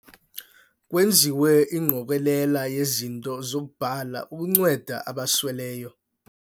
Kwenziwe ingqokelela yezinto zokubhala ukunceda abasweleyo.